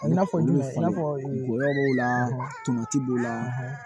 I n'a fɔ jumɛn i n'a fɔ gɔyɔ b'o la tuma b'o la